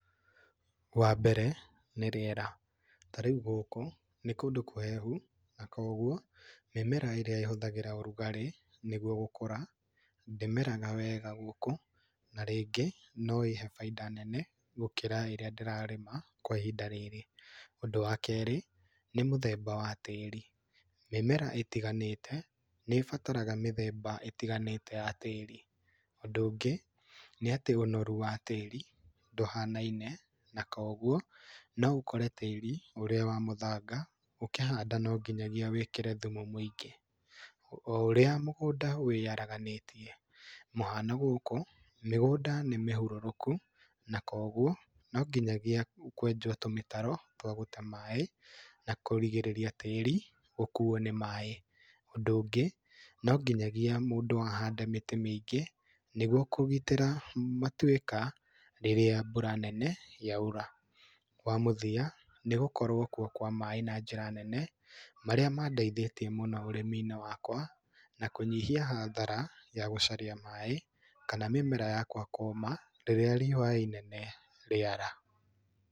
Wa mbere nĩ rĩera. Ta rĩu gũkũ nĩ kũndũ kũhehu na koguo mĩmera ĩrĩa ĩhũthĩraga ũrugarĩ nĩguo gũkũra ndĩmeraga wega gũkũ na rĩngĩ no ĩhe bainda nene gũkĩra ĩrĩa ndĩrarĩma kwa ihinda rĩrĩ. Ũndũ wa kerĩ, nĩ mũthemba wa tĩĩri. Mĩmera ĩtiganĩte nĩĩbataraga mĩthemba ĩtiganĩte ya tĩĩri. Ũndũ ũngĩ nĩ atĩ ũnoru wa tĩĩri ndũhanaine, na koguo no ũkore tĩĩri ũrĩa wa mũthanga, ũkĩhanda no nginya wĩkĩre thumu mũingĩ. O ũrĩa mũgũnda wĩharaganĩtie, mũhano gũkũ mĩgũnda nĩ mĩhũrũrũku na koguo no nginyagia kwenjwo tũmĩtaro twa gũte maĩ na kũrigĩrĩria tĩĩri ũkuo nĩ maĩ. Ũndũ ũngĩ, no nginya mũndũ ahande mĩtĩ mĩingĩ, nĩguo kũgitĩra matuĩka rĩrĩa mbura nene yaura. Wa mũthia nĩ gũkorwo kuo kwa maĩ na njĩra nene marĩa mandeithĩtie mũno ũrĩmi-inĩ wakwa, na kũnyihia hathara ya gũcaria maĩ kana mĩmera yakwa kũũma rĩrĩa riũa rĩnene rĩara.